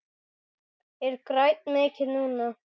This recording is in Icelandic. Ég græt mikið núna.